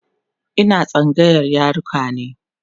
Ina tsangayar yaruka ne